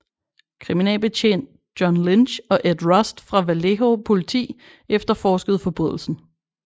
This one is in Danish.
Kriminalbetjent John Lynch og Ed Rust fra Vallejo politi efterforskede forbrydelsen